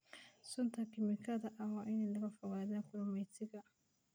Sunta kiimikada ah waa in laga fogaadaa kalluumeysiga.